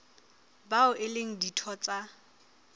bao e leng ditho tsa